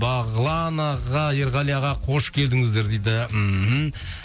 бағлан аға ерғали аға қош келдіңіздер дейді мхм